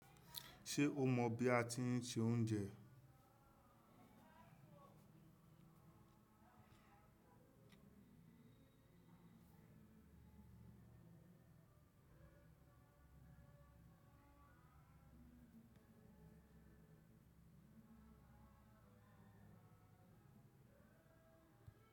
Ṣé o mọ bí a ti ń se oúnjẹ?